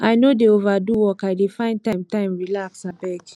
i no dey overdo work i dey find time time relax abeg